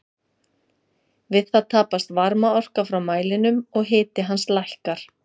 Við það tapast varmaorka frá mælinum og hiti hans lækkar.